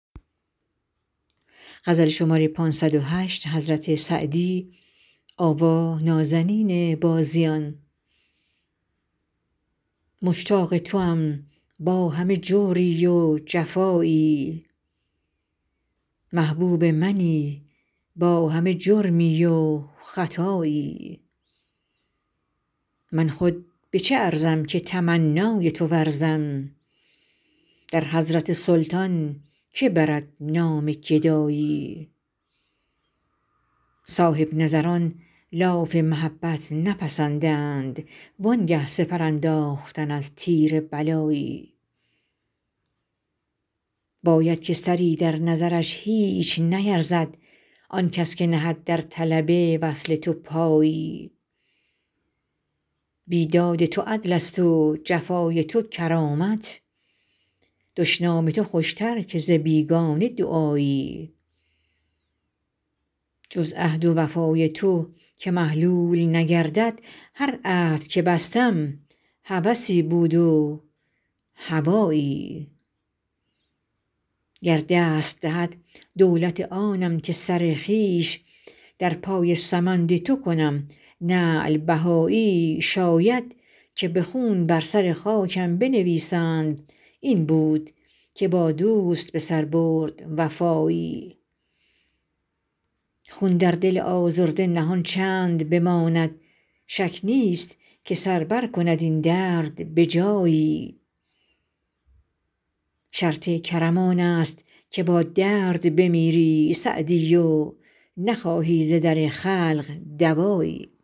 مشتاق توام با همه جوری و جفایی محبوب منی با همه جرمی و خطایی من خود به چه ارزم که تمنای تو ورزم در حضرت سلطان که برد نام گدایی صاحب نظران لاف محبت نپسندند وان گه سپر انداختن از تیر بلایی باید که سری در نظرش هیچ نیرزد آن کس که نهد در طلب وصل تو پایی بیداد تو عدلست و جفای تو کرامت دشنام تو خوشتر که ز بیگانه دعایی جز عهد و وفای تو که محلول نگردد هر عهد که بستم هوسی بود و هوایی گر دست دهد دولت آنم که سر خویش در پای سمند تو کنم نعل بهایی شاید که به خون بر سر خاکم بنویسند این بود که با دوست به سر برد وفایی خون در دل آزرده نهان چند بماند شک نیست که سر برکند این درد به جایی شرط کرم آنست که با درد بمیری سعدی و نخواهی ز در خلق دوایی